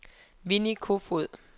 Winnie Kofoed